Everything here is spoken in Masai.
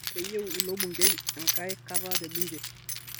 Keyieu ilo bungei enkai kata te bunge